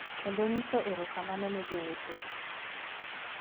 Kendo nyiso erokamano ne jowetewa .